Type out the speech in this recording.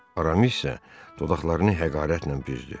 Aramis isə dodaqlarını həqarətlə büzdü.